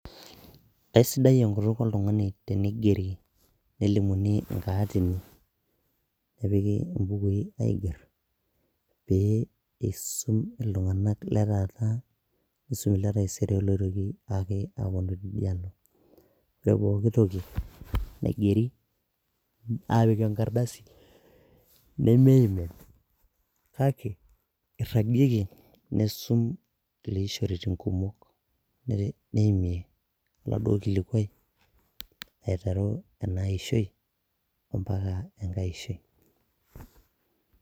Aisidai enkutuk oltung'ani tenelimuni inkaatini, nepiki imbukui aiger, pee eisum iltung'ana taata ashu le taisere pee eitoki ake awuonu teidialo. Ore pooki toki naigeri , aapik enkardasi nemeimin kake eiragieki neisum kulie ishoritin kumok aimie oladuo kilikwai aiteru ena ishoi ompaka enkai ishoi.